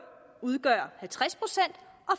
udgøre halvtreds procent